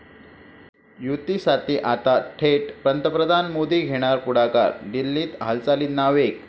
युतीसाठी आता थेट पंतप्रधान मोदी घेणार पुढाकार, दिल्लीत हालचालींना वेग